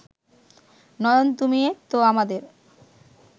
নয়ন তুমি তো আমাদের